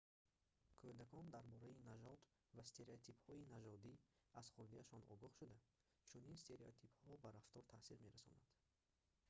кӯдакон дар бораи нажод ва стереотипҳои нажодӣ аз хурдиашон огоҳ шуда чунин стереотипҳо ба рафтор таъсир мерасонанд